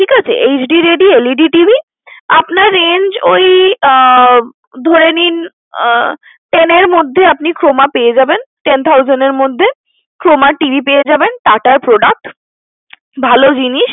ঠিকাছে HD ready LEDTV, আপনার range ওই আহ ধরে নিন আহ ten এর মধ্যে Croma পেয়ে যাবেন। Ten thousand এর মধ্যে Croma TV পেয়ে যাবেন TATA র Product ভালো জিনিস।